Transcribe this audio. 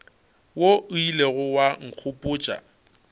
wo o ilego wa nkgopotša